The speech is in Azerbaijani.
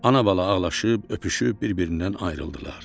Ana-bala ağlaşıb, öpüşüb bir-birindən ayrıldılar.